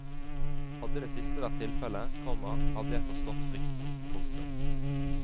Hadde det siste vært tilfelle, komma hadde jeg forstått frykten. punktum